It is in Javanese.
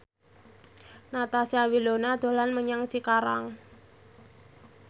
Natasha Wilona dolan menyang Cikarang